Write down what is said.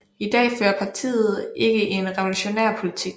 I dag fører partiet ikke en revolutionær politik